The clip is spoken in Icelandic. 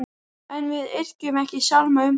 En við yrkjum ekki sálma um þá.